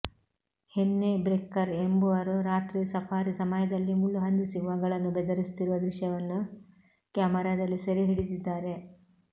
ಹೆನ್ನೆ Brekker ಎಂಬುವರು ರಾತ್ರಿ safari ಸಮಯದಲ್ಲಿ ಮುಳ್ಳುಹಂದಿ ಸಿಂಹಗಳನ್ನು ಬೆದರಿಸುತ್ತಿರುವ ದೃಶ್ಯವನ್ನು ಕ್ಯಾಮೆರಾದಲ್ಲಿ ಸೆರೆ ಹಿಡಿದಿದ್ದಾರೆ